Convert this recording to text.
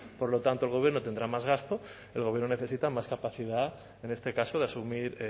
por lo tanto el gobierno tendrá más gasto el gobierno necesita más capacidad en este caso de asumir